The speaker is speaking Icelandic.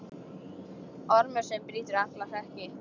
Ormur sem brýtur alla hlekki.